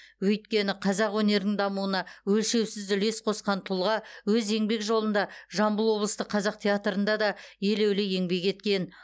өйткені қазақ өнерінің дамуына өлшеусіз үлес қосқан тұлға өз еңбек жолында жамбыл облыстық қазақ театрында да елеулі еңбек еткен